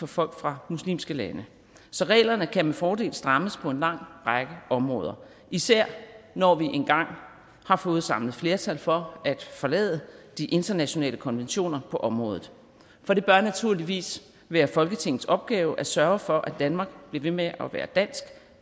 folk fra muslimske lande så reglerne kan med fordel strammes på en lang række områder især når vi engang har fået samlet flertal for at forlade de internationale konventioner på området for det bør naturligvis være folketingets opgave at sørge for at danmark bliver ved med at være dansk